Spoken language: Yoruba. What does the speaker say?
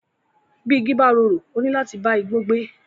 Bí igi bá rorò, ó níláti bá igbó gbé.